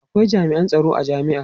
akwai jami'an tsaron a jami'a